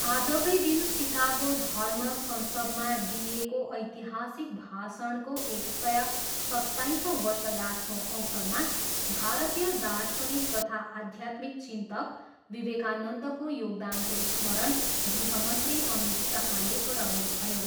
आजकै दिन सिकागो धर्म संसदमा दिइएको ऐतिहासिक भाषणको एक सय सत्ताइसौँ वर्षगाँठको अवसरमा भारतीय दार्शनिक तथा आध्यात्मिक चिन्तक विवेकानन्दको योगदानको स्मरण गृहमन्त्री अमित शाहले गराउनुभयो।